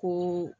Ko